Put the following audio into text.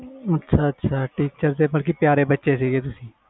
ਅੱਛਾ ਅੱਛਾ teacher ਦੇ ਪਿਆਰੇ ਬੱਚੇ ਸੀ ਤੁਸੀ